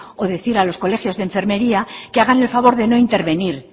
o decir a los colegios de enfermería que hagan el favor de no intervenir